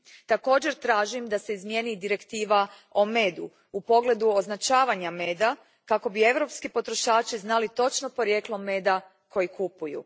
Također tražim da se izmijeni Direktiva o medu u pogledu označavanja meda kako bi europski potrošači znali točno porijeklo meda koji kupuju.